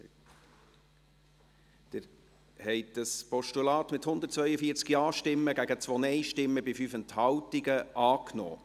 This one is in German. Sie haben dieses Postulat mit 142 Ja- gegen 2 Nein-Stimmen bei 5 Enthaltungen angenommen.